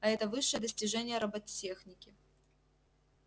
а это высшее достижение роботехники